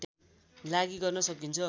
लागि गर्न सकिन्छ